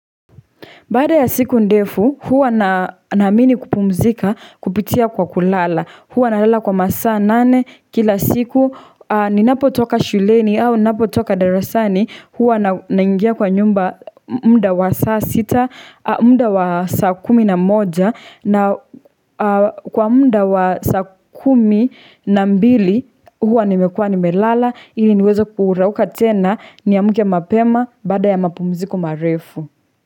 Baada ya siku ndefu, huwa naamini kupumzika, kupitia kwa kulala. Huwa nalala kwa masaa nane, kila siku, ninapo toka shuleni au ninapotoka darasani, huwa naingia kwa nyumba muda wa saa sita, mda wa saa kumi na moja, na kwa muda wa saa kumi na mbili, huwa nimekuwa nimelala, ili niweze kurauka tena, niamke mapema, baada ya mapumziko marefu.